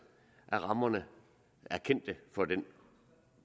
at rammerne for den